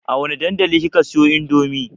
A wane dandali kika siyo indomie?